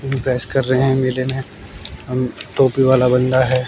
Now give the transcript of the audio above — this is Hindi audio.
ओ भी बहस कर रहे है मेले में अम टोपी वाला बंदा है।